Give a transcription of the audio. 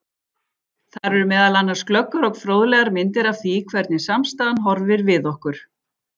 Þar eru meðal annars glöggar og fróðlegar myndir af því hvernig samstaðan horfir við okkur.